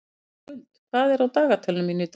Skuld, hvað er á dagatalinu mínu í dag?